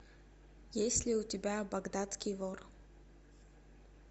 есть ли у тебя багдадский вор